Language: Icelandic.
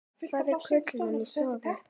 Hvað er kulnun í starfi?